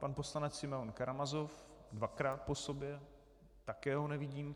Pan poslanec Simeon Karamazov dvakrát po sobě - také ho nevidím.